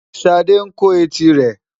Ṣadé ń kó etí rẹ̀.